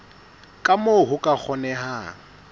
ka moo ho ka kgonehang